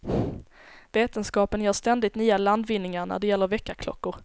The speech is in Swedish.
Vetenskapen gör ständigt nya landvinningar när det gäller väckarklockor.